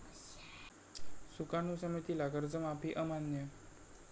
सुकाणू समितीला कर्जमाफी अमान्य